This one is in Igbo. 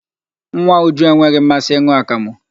Nwa Uju enweghị mmasị ịn̄ụ akamụ.